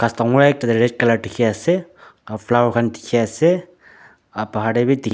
ghas dangor ekta tae red colour dikhiase aro flower khan dikhiase aro bahar tae bi dikhi.